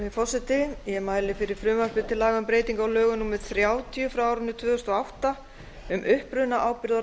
virðulegi forseti ég mæli fyrir frumvarpi til laga um breytingu á lögum númer þrjátíu tvö þúsund og átta um upprunaábyrgð á